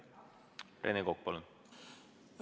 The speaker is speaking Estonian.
Rene Kokk, palun!